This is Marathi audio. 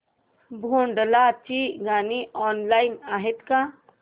भोंडला ची गाणी ऑनलाइन आहेत का